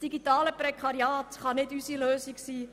Das digitale Prekariat kann nicht unsere Lösung sein.